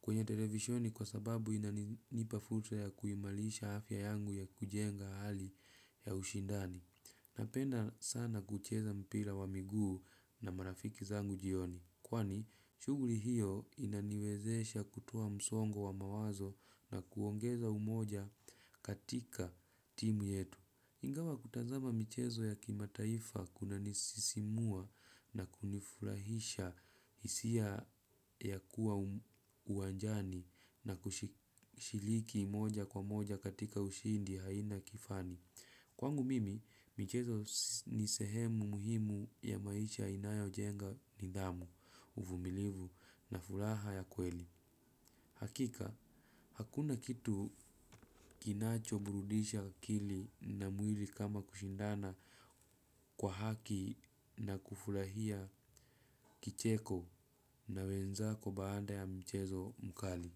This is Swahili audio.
kwenye televisheni kwa sababu inanipa fursa ya kuimarisha afya yangu ya kujenga hali ya ushindani. Napenda sana kucheza mpira wa miguu na marafiki zangu jioni. Kwani, shughuri hiyo inaniwezesha kutoa msongo wa mawazo na kuongeza umoja katika timu yetu. Ingawa kutazama michezo ya kimataifa kunanisisimua na kunifurahisha hisia ya kuwa uwanjani na kushiriki moja kwa moja katika ushindi haina kifani. Kwangu mimi, michezo ni sehemu muhimu ya maisha inayojenga nidhamu, uvumilivu na furaha ya kweli. Hakika, hakuna kitu kinacho burudisha akili na mwili kama kushindana kwa haki na kufurahia kicheko na wenzako baada ya mchezo mkali.